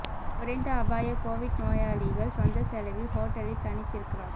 குறைந்த அபாய கோவிட் நோயாளிகள் சொந்த செலவில் ஹோட்டலில் தனித்திருக்கலாம்